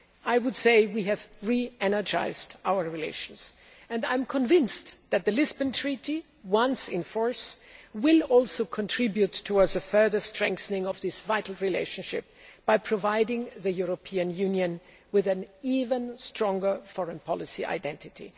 I would say we have re energised our relations and I am convinced that the Lisbon Treaty, once in force, will also contribute towards the further strengthening of this vital relationship by providing the European Union with an even stronger foreign policy identity.